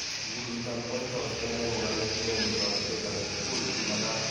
Ikuluit ab White House akine kokale inemu toretetage tugul nemagat.